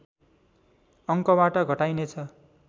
अङ्कबाट घटाइनेछ